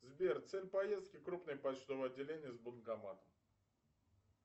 сбер цель поездки крупное почтовое отделение с банкоматом